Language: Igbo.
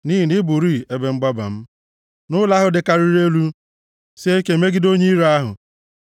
Nʼihi na ị bụrịị ebe mgbaba m, na ụlọ ahụ dịkarịrị elu, sie ike imegide onye iro ahụ. + 61:3 \+xt Ilu 18:10\+xt*